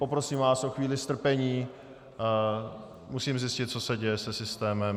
Poprosím vás o chvíli strpení, musím zjistit, co se děje se systémem.